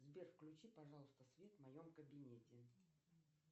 сбер включи пожалуйста свет в моем кабинете